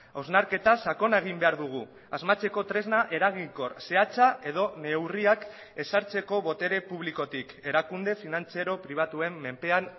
hausnarketa sakona egin behar dugu asmatzeko tresna eraginkor zehatza edo neurriak ezartzeko botere publikotik erakunde finantziero pribatuen menpean